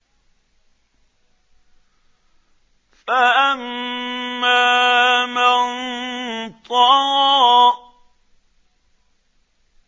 فَأَمَّا مَن طَغَىٰ